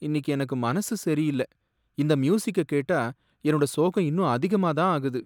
இன்னிக்கு எனக்கு மனசு சரியில்ல, இந்த மியூசிக்க கேட்டா என்னோட சோகம் இன்னும் அதிகமா தான் ஆகுது.